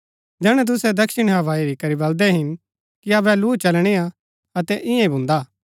जैहणै तुसै दक्षिणी हवा हेरी करी बल्‍दै हिन कि अबै लू चलणीआ अतै ईयांईं ही भुन्दा